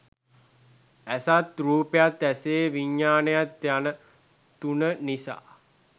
ඇසත් රූපයත් ඇසේ විඥානයත් යන තුන නිසා